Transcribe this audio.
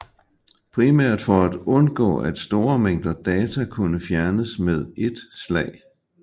Primært for at undgå at store mængder data kunne fjernes med et slag